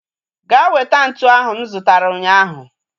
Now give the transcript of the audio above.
Ga weta ntụ ahu m zutara ụnyaahụ